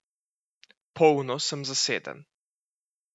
Polno sem zaseden.